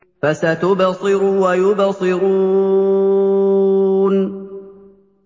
فَسَتُبْصِرُ وَيُبْصِرُونَ